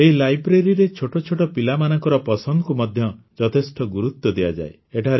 ଏହି ଲାଇବ୍ରେରୀରେ ଛୋଟ ଛୋଟ ପିଲାମାନଙ୍କର ପସନ୍ଦକୁ ମଧ୍ୟ ଯଥେଷ୍ଟ ଗୁରୁତ୍ୱ ଦିଆଯାଏ